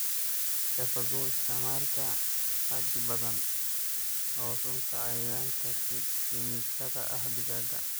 Ka fogow isticmaalka xaddi badan oo sunta cayayaanka kiimikada ah digaagga.